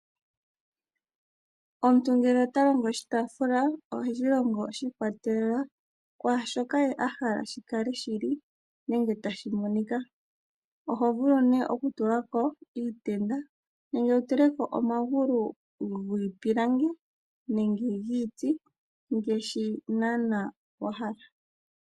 Omuntu ngele ota longo oshitaafula, oheshi longo shi ikwatelela kwaashoka ye ahala shi kale shi li, nenge tashi monika. Oho vulu nee oku tulako iitenda, nenge wu tuleko omagulu giipilangi, nenge giiti ngaashi naanaa wa hala.